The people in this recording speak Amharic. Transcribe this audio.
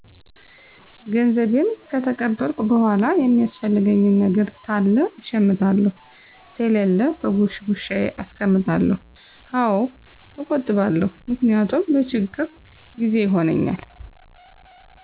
ገንዘቤን ከተቀበልኩ በኋላ የሚያስፈልገኝ ነገር ታለ እሸምታለሁ ተሌለ በጉሽጉሻዬ አስቀምጠዋለሁ። አዎ እቆጥባለሁ ምክንያቱም ለችግር ጊዜ ይሆነኛል።